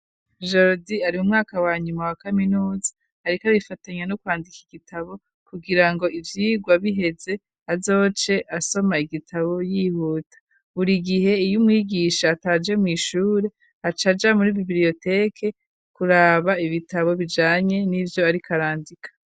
Jerodi ari mu mwaka wa nyuma wa kaminuza, ariko abifatanya no kwandika igitabo kugira ngo ivyirwa biheze azoce asoma igitabo yihuta. Buri gihe, iyo umwigisha ataje mw'ishure acaja muri bibliyoteke kuraba ibitabo bijanye n'ivyo arik'arandika.